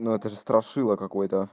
ну это же страшило какое-то